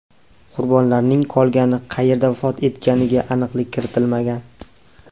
Qurbonlarning qolgani qayerda vafot etganiga aniqlik kiritilmagan.